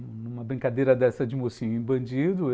Uma brincadeira dessa de mocinho e bandido.